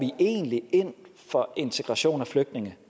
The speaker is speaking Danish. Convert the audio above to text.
ind for integration af flygtninge